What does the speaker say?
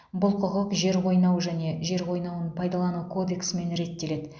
бұл құқық жер қойнауы және жер қойнауын пайдалану кодексімен реттеледі